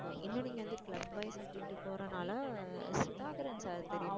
இன்னும் நீங்க வந்து club wise அப்படின்னுட்டு போறதுனால சுதாகரன் sir தெரியும்